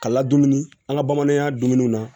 Ka ladonni an ka bamanankan dumuniw na